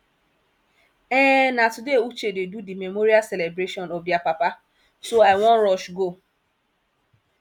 um na today uche dey do the memorial celebration of their papa so i wan rush go